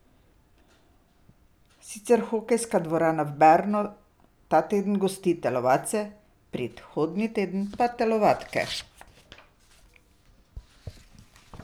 Sicer hokejska dvorana v Bernu ta teden gosti telovadce, prihodnji teden pa telovadke.